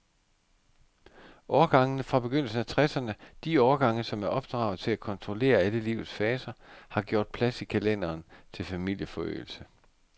Årgangene fra begyndelsen af tresserne, de årgange, som er opdraget til at kontrollere alle livets faser, har gjort plads i kalenderen til familieforøgelse.